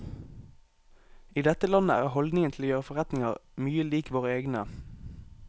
I dette landet er holdningen til å gjøre forretninger mye lik våre egne.